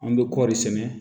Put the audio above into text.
An bɛ kɔri sɛnɛ